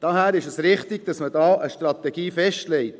Daher ist es richtig, dass man da eine Strategie festlegt: